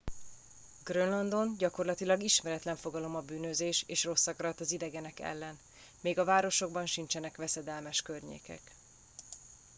grönlandon gyakorlatilag ismeretlen fogalom a bűnözés és rosszakarat az idegenek ellen még a városokban sincsenek veszedelmes környékek